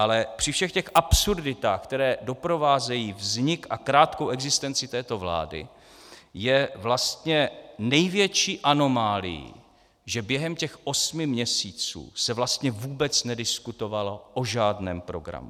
Ale při všech těch absurditách, které doprovázejí vznik a krátkou existenci této vlády, je vlastně největší anomálií, že během těch osmi měsíců se vlastně vůbec nediskutovalo o žádném programu.